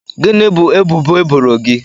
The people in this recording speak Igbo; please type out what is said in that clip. Gịnị bụ ebubo eboro gị?